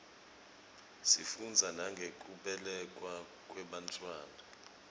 sifundza nangekubelekwa kwebantfwana